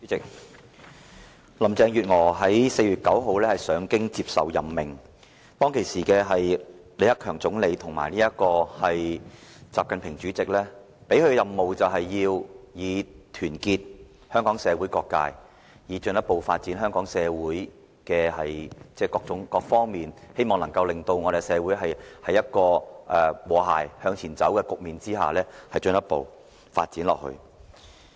主席，林鄭月娥在4月9日上京接受任命，當時李克強總理及習近平主席給她的任務，就是要團結香港社會各界，讓香港社會各個方面都有進一步的發展，冀能營造社會和諧向前邁進的局面，長遠地發展下去。